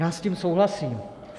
Já s tím souhlasím.